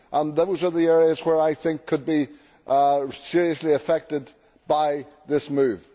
those are the areas which I think could be seriously affected by this move.